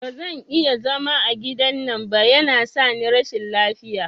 Bazan iya zama a gidan nan ba, yana sani rashin lafiya